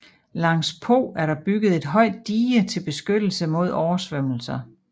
Langs Po er der bygget et højt dige til beskyttelse mod oversvømmelser